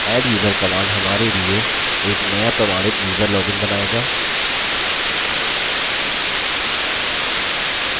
adduser command हमारे लिए एक नया प्रमाणित यूज़र login बनाएगा